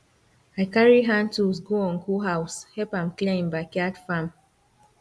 i carry hand tools go uncle house help am clear him backyard farm